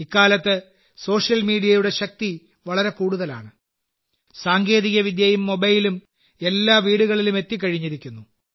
ഇക്കാലത്ത് സോഷ്യൽ മീഡിയയുടെ ശക്തി വളരെ കൂടുതലാണ് സാങ്കേതികവിദ്യയും മൊബൈലും എല്ലാ വീടുകളിലും എത്തികഴിഞ്ഞിരിക്കുന്നു